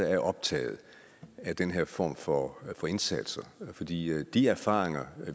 er optaget af den her form for indsatser for de de erfaringer